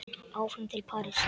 Áfram til Parísar